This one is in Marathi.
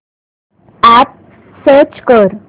अॅप सर्च कर